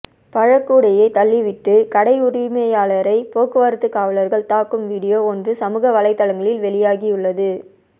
பழக்கூடையை தள்ளிவிட்டு கடை உரிமையாளரை போக்குவரத்து காவலா்கள் தாக்கும் வீடியோ ஒன்று சமூக வலைதளங்களில் வெளியாகியுள்ளது